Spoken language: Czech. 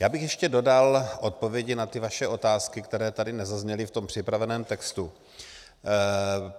Já bych ještě dodal odpovědi na ty vaše otázky, které tady nezazněly v tom připraveném textu.